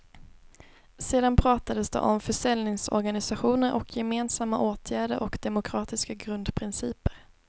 Sedan pratades det om försäljningsorganisationer och gemensamma åtgärder och demokratiska grundprinciper.